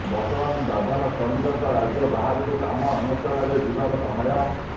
ବର୍ତମାନ ଦାଦନ ଶ୍ରମିକଙ୍କ ରାଜ୍ୟ ବାହାରକୁ କାମ ଅନେ୍ବଷଣରେ ଯିବାର ସମୟ